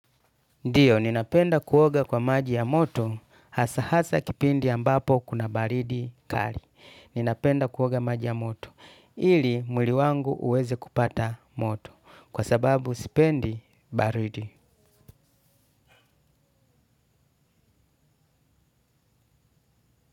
Ndio, ninapenda kuoga kwa maji ya moto, hasa hasa kipindi ambapo kuna baridi kali. Ninapenda kuoga maji ya moto. Ili mwili wangu uweze kupata moto, kwa sababu sipendi baridi.